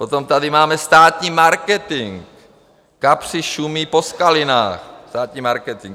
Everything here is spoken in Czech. Potom tady máme státní marketing, kapři šumí po skalinách, státní marketing.